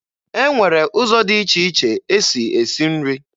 E nwere ụzọ dị iche iche e si esi nri.